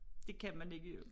Det kan man ikke